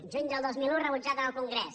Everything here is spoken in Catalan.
juny del dos mil un rebutjada al congrés